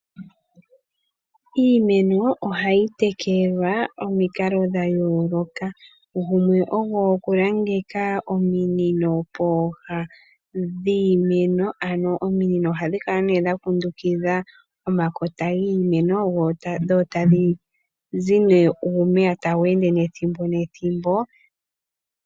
Iimeno ohayi tekelwa pamikalo dhayooloka. Gumwe ogo okulangeka ominino pooha dhiimeno, ano ominino ohadhi kala ne dha kundukidha omakota giimeno, dho tadhi zi nee uumeya tawu ende nethimbo.